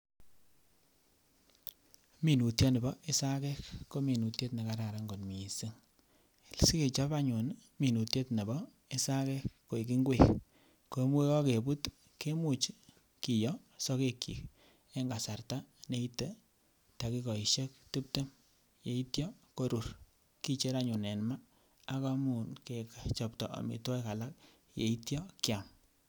Minutioni bo isagek ko minutiet nekararan kot missing, sikechob anyun minutiet nebo isagek koik ngwek ko yekokebut kemuch kiyoo sogekyik en kasarta neite dakikoishek tibtem yeityo korur kicher anyun en maa ak ichuch kechobto omitwokik alak yeityo kiam